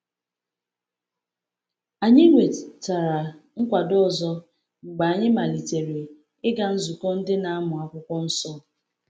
Anyị nwetara nkwado ọzọ mgbe anyị malitere ịga nzukọ Ndị Na-amụ Akwụkwọ Nsọ.